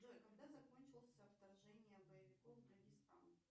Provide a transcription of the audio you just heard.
джой когда закончился вторжение боевиков в дагестан